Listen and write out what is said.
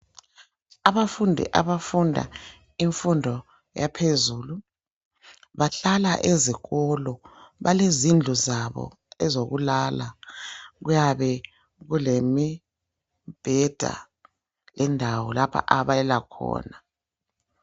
Abafundi abafunda imfundo yaphezulu. Bahlala ezikolo. Balezindlu zabo ezokulala. Kuyabe kulemibheda, indawo, lapha abalala khona.